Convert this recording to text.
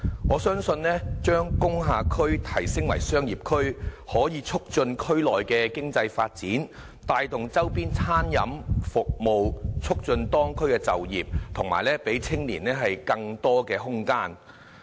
我相信將工廈區提升為商業區可以促進區內的經濟發展，帶動周邊餐飲服務，促進當區就業和讓青年有更多空間。